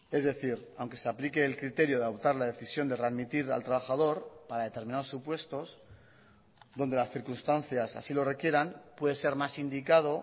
es decir aunque se aplique el criterio de adoptar la decisión de readmitir al trabajador para determinados supuestos donde las circunstancias así lo requieran puede ser más indicado